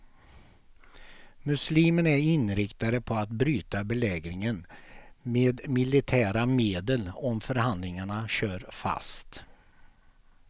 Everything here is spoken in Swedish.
Muslimerna är inriktade på att bryta belägringen med militära medel om förhandlingarna kör fast.